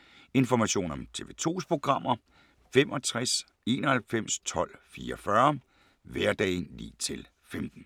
Information om TV 2's programmer: 65 91 12 44, hverdage 9-15.